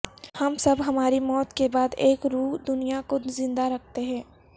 ہم سب ہماری موت کے بعد ایک روح دنیا کو زندہ رکھتے ہیں